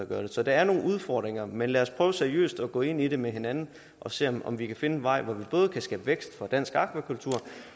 gøre det så der er nogle udfordringer men lad os prøve seriøst at gå ind i det med hinanden og se om om vi kan finde en vej hvor vi både kan skabe vækst for dansk akvakultur